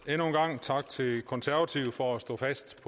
endnu en gang tak til konservative for at stå fast